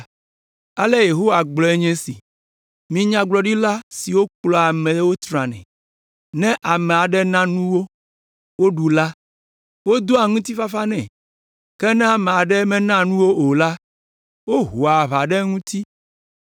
Ale Yehowa gblɔe nye esi: “Mi nyagblɔɖila siwo kplɔa nye amewo tranae; ne ame aɖe na nu wo, woɖu la, wodoa ŋutifafa nɛ; ke ne ame aɖe mena nu wo o la, wohoa aʋa ɖe eŋuti.